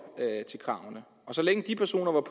sikre